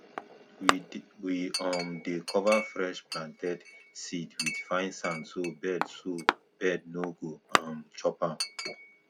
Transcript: we um dey cover fresh planted seed with fine sand so bird so bird no go um chop am